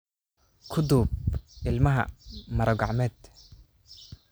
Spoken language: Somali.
ku duub ilmaha maro-gacmeed.